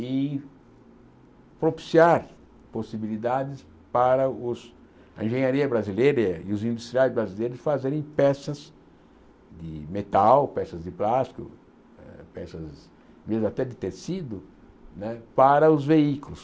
e propiciar possibilidades para os a engenharia brasileira e os industriais brasileiros fazerem peças de metal, peças de plástico, eh peças às vezes até de tecido né para os veículos.